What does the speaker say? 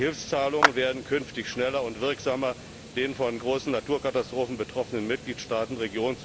Die Hilfszahlungen werden künftig schneller und wirksamer den von großen Naturkatastrophen betroffenen Mitgliedstaaten bzw.